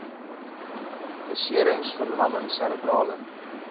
beserings verlamming serebrale